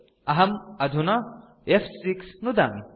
अहम् अधुना फ्6 नुदामि